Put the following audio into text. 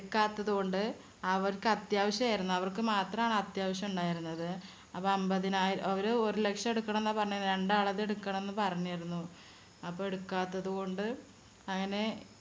എടുക്കാത്തതുകൊണ്ട് അവർക്ക് അത്യാവശ്യായിരുന്നു. അവർക്ക് മാത്രാണ് അത്യാവശ്യം ഉണ്ടായിരുന്നത്. അപ്പോ അമ്പതിനായിരം അവര് ഒരു ലക്ഷം എടുക്കണമെന്നാ പറഞ്ഞിരുന്നത്. രണ്ടാള് അത് എടുക്കണം എന്ന് പറഞ്ഞിരുന്നു. അപ്പോ എടുക്കാത്തതുകൊണ്ട് അങ്ങനെ